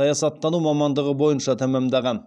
саясаттану мамандығы бойынша тәмамдаған